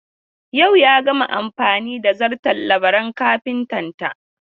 Yau ya gama amfani da zarton Labaran kafitanta.